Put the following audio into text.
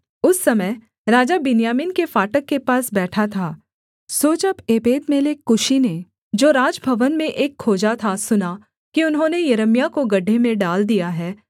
उस समय राजा बिन्यामीन के फाटक के पास बैठा था सो जब एबेदमेलेक कूशी ने जो राजभवन में एक खोजा था सुना कि उन्होंने यिर्मयाह को गड्ढे में डाल दिया है